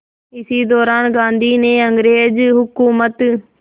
इसी दौरान गांधी ने अंग्रेज़ हुकूमत